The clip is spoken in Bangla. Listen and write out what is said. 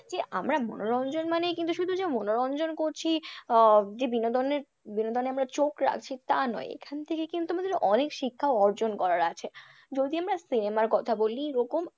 যে আমরা মনোরঞ্জন মানেই কিন্তু শুধু যে মনোরঞ্জন করছি আহ যে বিনোদনে আমরা চোখ রাখছি তা নয় এখান থেকে কিন্তু আমাদের অনেক শিক্ষা অর্জন করার আছে, যদি আমরা cinema র কথা বলি এরকম,